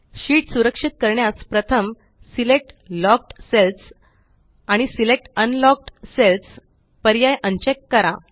sheet सुरक्षित करण्यास प्रथम सिलेक्ट लॉक्ड सेल्स आणि सिलेक्ट अनलॉक्ड सेल्स पर्याय अनचेक करा